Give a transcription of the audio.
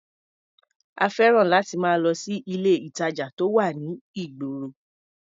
A fẹ́ràn láti máa lọ sí ilé-ìtàjà tó wà ní ìgboro.